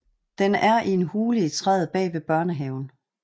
Den er i en hule i træet bag ved børnehaven